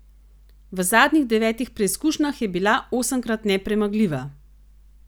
V zadnjih devetih preizkušnjah je bila osemkrat nepremagljiva.